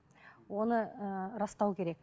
оны ыыы растау керек